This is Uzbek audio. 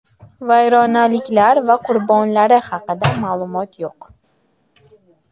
Vayronaliklar va qurbonlari haqida ma’lumot yo‘q.